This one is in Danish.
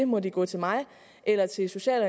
må de gå til mig eller til social